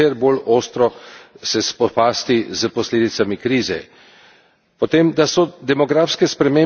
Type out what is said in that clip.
Potem, da so demografske spremembe ključen dejavnik vpliva na delovanje in razvoj zdravstvenega sistema.